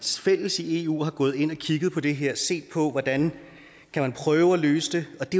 fælles i eu er gået ind og har kigget på det her og set på hvordan man kan prøve at løse det og det